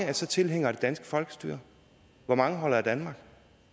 er så tilhængere af det danske folkestyre hvor mange holder af danmark